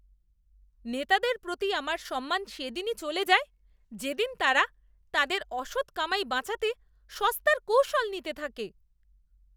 নেতাদের প্রতি আমার সম্মান সেদিনই চলে যায় যেদিন তারা তাদের অসৎ কামাই বাঁচাতে সস্তার কৌশল নিতে থাকে।